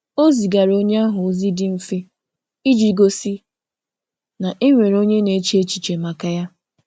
Ọ zigara onye ahụ ozi dị mfe iji gosi na e nwere onye na-eche echiche maka ya